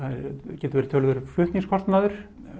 getur verið töluverður flutningskostnaður